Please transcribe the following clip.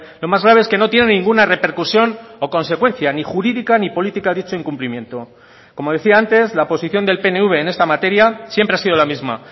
lo más grave es que no tiene ninguna repercusión o consecuencia ni jurídica ni política a dicho incumplimiento como decía antes la posición del pnv en esta materia siempre ha sido la misma